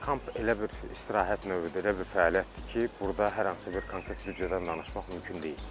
Kamp elə bir istirahət növüdür, elə bir fəaliyyətdir ki, burda hər hansı bir konkret büdcədən danışmaq mümkün deyil.